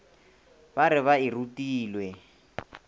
ba re ba e rutilwe